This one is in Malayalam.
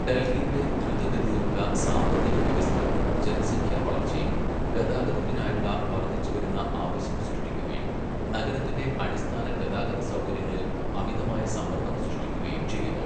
ഡൽഹിയുടെ ദ്രുതഗതിയിലുള്ള സാമ്പത്തിക വികസനവും ജനസംഖ്യാ വളർച്ചയും, ഗതാഗതത്തിനായുള്ള വർദ്ധിച്ചുവരുന്ന ആവശ്യം സൃഷ്ടിക്കുകയും, നഗരത്തിന്റെ അടിസ്ഥാന ഗതാഗത സൗകര്യങ്ങളിൽ അമിതമായ സമ്മർദ്ദം സൃഷ്ടിക്കുകയും ചെയ്യുന്നു.